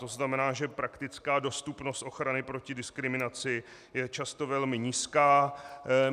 To znamená, že praktická dostupnost ochrany proti diskriminaci je často velmi nízká.